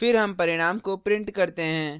फिर हम परिणाम को print करते हैं